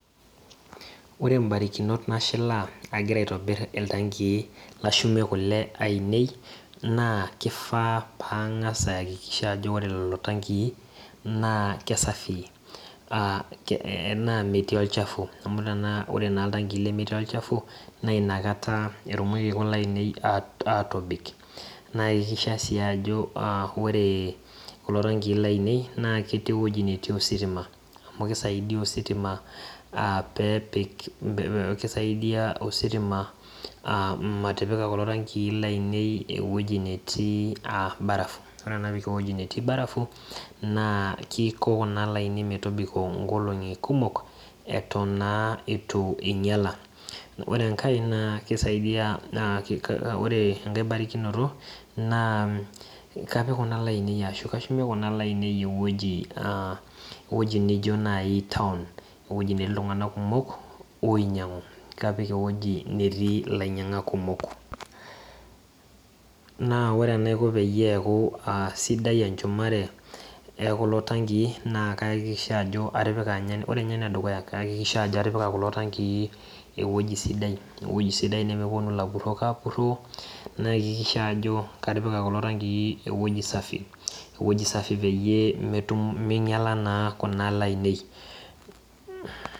Ore imbarakinot nashilaa agira aitobir iltankii lashumie kule naa kang'as aakikisha ajo ore lelo tankii naa keisafii naa metii olchafu naa ore intankii lemetii olchafu naa inakata etumoki kulo aatobik naa ore kuna le ainei naa ketii ewueji netii ositima amu sidaidia ositima aa peepik keisaidia ositima matipika kulo tankii lainei ewueji netii barafu ore naa ewueji netii barafu naa keiko kuna le ainei metobiko inkolong'i kumok eitu naa einyiala ore enkae naa keisaidia ore enkae baye naa embarakinoto naa kamip kuna le ainei euweji neijio naaji toan natii iltung'anak kukom oinyiang'u kapik kuna le ainei ewueji natii ilainyiang'ak kumok naa ore enaiko peeku sidai enchumare ekula tankii ore ninye enedukuya aakikisha ajo atipika kula tankii euweji sidai ewueji sidai nemepupnu ilapurok aapuroo naakiskisha ajo katipika iltankii euweji safii peyie meinyiala naa kuna le ainei